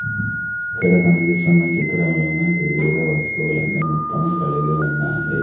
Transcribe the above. ఇక్కడ కనిపిస్తున్న చిత్రంలోన వివిధ వస్తువులన్నీ మొత్తం కలిగి ఉన్నాయి.